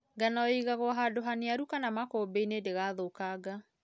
Ngano ĩigagwo hando haniaru kana makũmbĩinĩ ndĩgathũkanga.